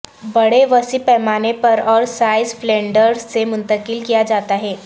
بڑے وسیع پیمانے پر اور سائز فلینڈرس سے منتقل کیا جاتا ہے